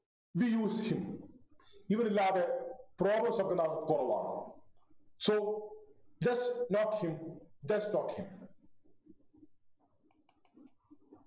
We use him ഇവനില്ലാതെ problems ഒക്കെ ഉണ്ടാവൽ കുറവാണ് So just note him just note him